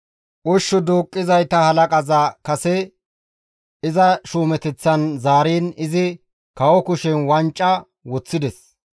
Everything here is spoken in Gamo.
Ushshu duuqqizayta halaqaza kase iza shuumeteththan zaariin izi kawo kushen wanca woththides.